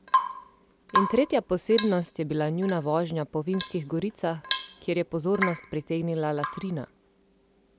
In tretja posebnost je bila njuna vožnja po vinskih goricah, kjer je pozornost pritegnila latrina!